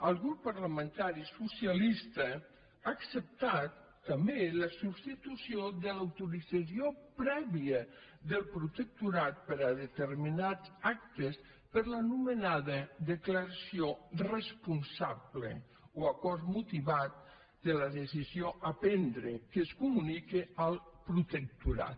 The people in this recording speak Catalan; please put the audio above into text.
el grup parlamentari socialista ha acceptat també la substitució de l’autorització prèvia del protectorat per a determinats actes per l’anomenada declaració res·ponsable o acord motivat de la decisió a prendre que es comunica al protectorat